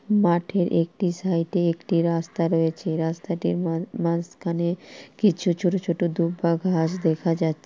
মাঠের একটি সাইটে একটি রাস্তা রয়েছে। রাস্তাটির মা-মাঝখানে কিছু ছোট ছোট দুব্বা ঘাস দেখা যাচ্ছে।